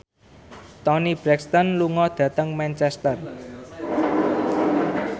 Toni Brexton lunga dhateng Manchester